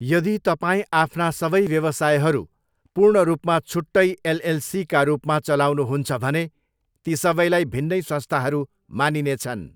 यदि तपाईँ आफ्ना सबै व्यवसायहरू पूर्ण रूपमा छुट्टै एलएलसीका रूपमा चलाउनुहुन्छ भने, ती सबैलाई भिन्नै संस्थाहरू मानिनेछन्।